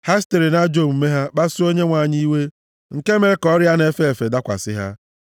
ha sitere nʼajọ omume ha kpasuo Onyenwe anyị iwe, nke mere ka ọrịa na-efe efe dakwasị ha.